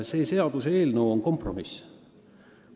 See seaduseelnõu on kompromiss.